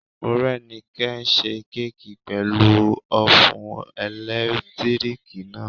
Morẹ́nikẹ́ n ṣe kéèkì pẹ̀lú ófùn ẹ̀lẹ́tíríkì náà